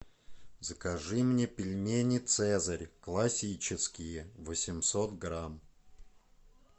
закажи мне пельмени цезарь классические восемьсот грамм